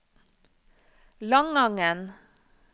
Langangen